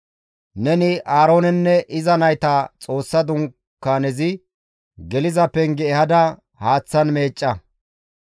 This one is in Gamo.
«Neni Aaroonenne iza nayta Xoossa Dunkaanezi geliza penge ehada haaththan meecca.